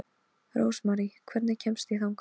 Rósmarý, hvernig kemst ég þangað?